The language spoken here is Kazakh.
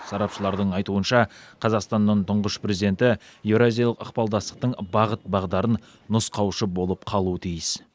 сарапшылардың айтуынша қазақстанның тұңғыш президенті еуразиялық ықпалдастықтың бағыт бағдарын нұсқаушы болып қалуы тиіс